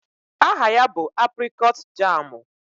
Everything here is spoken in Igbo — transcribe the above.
Aha ya bụ aprịkọọt jaamụ.